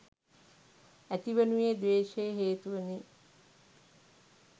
ඇතිවනුයේ ද්වේශය හේතුවෙනි.